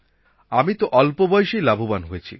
আমি তো অল্প বয়সেই লাভবান হয়েছি